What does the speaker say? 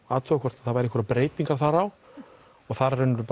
athuga hvort það væri einhverjar breytingar þar á og þar í raun og veru